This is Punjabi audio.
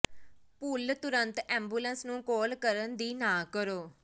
ਭੁੱਲ ਤੁਰੰਤ ਐਬੂਲਸ ਨੂੰ ਕਾਲ ਕਰਨ ਦੀ ਨਾ ਕਰੋ